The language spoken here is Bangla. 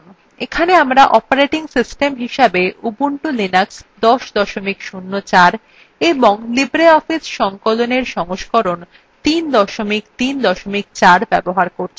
এখানে আমরা operating system হিসেবে ubuntu linux ১০ ০৪ এবং libreoffice সংকলনএর সংস্করণ ৩ ৩ ৪ ব্যবহার করছি